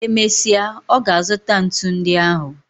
E mesịa, ọ ga-azụta ntu ndị ahụ.